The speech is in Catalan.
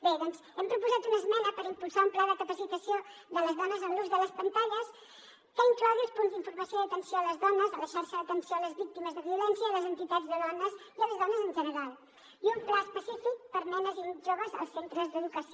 bé doncs hem proposat una esmena per impulsar un pla de capacitació de les dones en l’ús de les pantalles que inclogui els punts d’informació i atenció a les dones la xarxa d’atenció a les víctimes de violència i les entitats de dones i les dones en general i un pla específic per a nenes i joves als centres d’educació